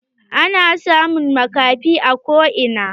Ana samun maƙafi a ko ina.